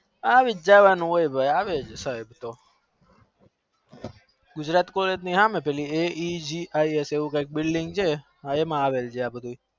આવી જવાનું હોય ગુજરાત colleg ની સામે પેલી એ જી સામે